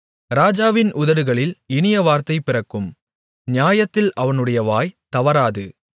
ராஜாவின் உதடுகளில் இனிய வார்த்தை பிறக்கும் நியாயத்தில் அவனுடைய வாய் தவறாது